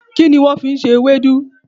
Kíni wón fi n se ewédú?